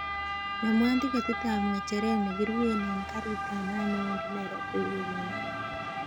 Nomwon tiketit ab ngecheret nekiruwen en garit ab maat newendi nairobi wikinon